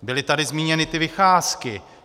Byly tady zmíněny ty vycházky.